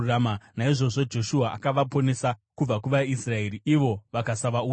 Naizvozvo Joshua akavaponesa kubva kuvaIsraeri, ivo vakasavauraya.